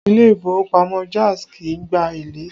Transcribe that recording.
Ilé ìfowópamọ́ Jaiz kì í gba èlé